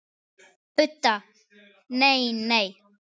Budda: Nei, nei.